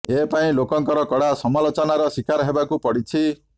ଏ ପାଇଁ ଲୋକଙ୍କର କଡ଼ା ସମାଲୋଚନାର ଶିକାର ହେବାକୁ ପଡ଼ିଛି